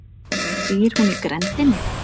Býr hún í grenndinni?